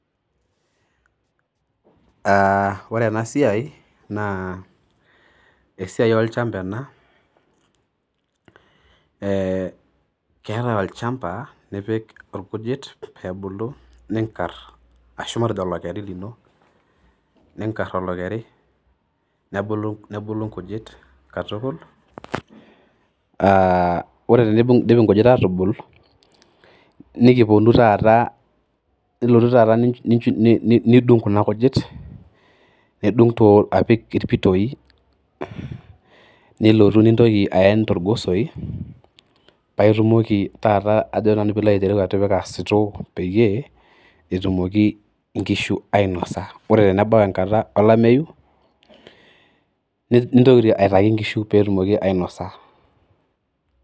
Aa ore ena siai naa esiai olchamba ena, ee keetai olchamba nipik ilkujit pew ebulu, niinkar arashu matejo olokeri lino. Niingar olokeri nebulu inkujit katukul aa ore teidip inkujit aa tubul, niltotu taata nidung kuna kujit, nidung apik ilpitoyi, niloto nintoki ayen togosoi paa intoki taata pee ilo aitereu atipika sitoo peyie etumoki inkishu ainosa. Ore tenebau enkata olameyu nintoki aitaki inkishu pee etumoki ainosa.